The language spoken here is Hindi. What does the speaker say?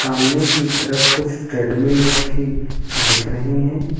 सामने की तरफ कुछ ट्रेडमिल रखी दिख रही हैं।